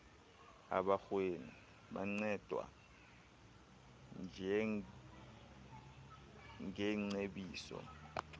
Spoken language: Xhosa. abarhweni bancedwa ngeengcebiso